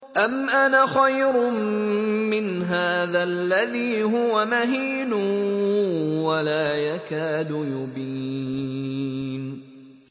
أَمْ أَنَا خَيْرٌ مِّنْ هَٰذَا الَّذِي هُوَ مَهِينٌ وَلَا يَكَادُ يُبِينُ